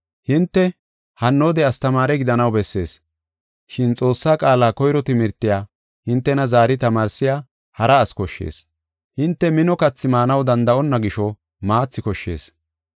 Hinte hannoode astamaare gidanaw bessees, shin Xoossaa qaala koyro timirtiya hintena zaari tamaarsiya hara asi koshshees. Hinte mino kathi maanaw danda7onna gisho maathi koshshees.